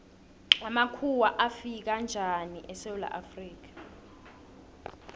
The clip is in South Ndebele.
amakhuwa afika njani esewula afrika